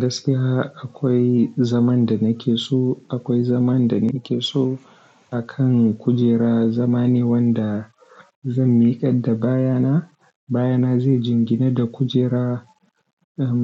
Gaskiya akwai zaman da nake so, akwai zaman da nake so akan kujera. Zama ne wanda zan miƙar da baya na. Baya na zai jingina da kujera.